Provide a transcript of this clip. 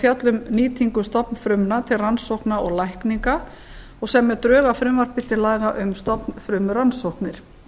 fjalla um nýtingu stofnfrumna til rannsókna og lækninga og semja drög að frumvarpi til laga um stofnfrumurannsóknir